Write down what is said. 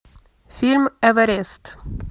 фильм эверест